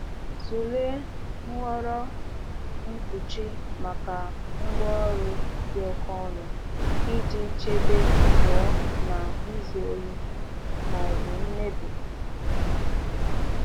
Tụlee nhọrọ mkpuchi maka ngwaọrụ dị oke ọnụ iji chebe pụọ na izu ohi ma ọ bụ mmebi.